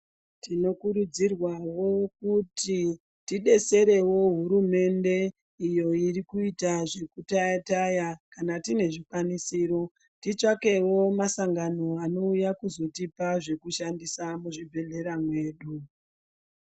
Tinokurudzirwawo kuti tidetserewo hurumende iyo irikuita zvekutayatay kana tiine zvikwanisiro titsvakewo masangano anouya kuzotipa zvekushandisa muzvibhedhlera medu.